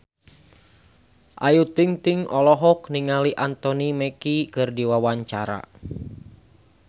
Ayu Ting-ting olohok ningali Anthony Mackie keur diwawancara